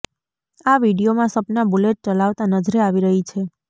આ વીડિયોમાં સપના બુલેટ ચલાવતા નજરે આવી રહી છે